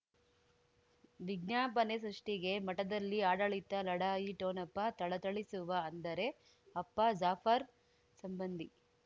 ವಿಜ್ಞಾಪನೆ ಸೃಷ್ಟಿಗೆ ಮಠದಲ್ಲಿ ಆಡಳಿತ ಲಢಾಯಿ ಠೊಣಪ ಥಳಥಳಿಸುವ ಅಂದರೆ ಅಪ್ಪ ಜಾಫರ್ ಸಂಬಂಧಿ